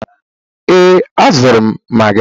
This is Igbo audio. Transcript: Ee, azụrụ m Magi.